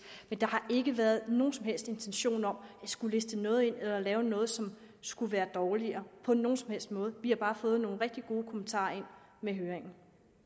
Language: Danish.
men der har ikke været nogen som helst intentioner om at skulle liste noget ind eller lave noget som skulle være dårligere på nogen som helst måde vi har bare fået nogle rigtig gode kommentarer ind med høringen